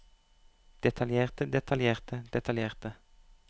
detaljerte detaljerte detaljerte